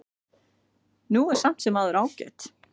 Hún er samt sem áður ágæt.